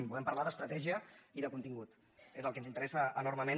volem parlar d’estratègia i de contingut és el que ens interessa enormement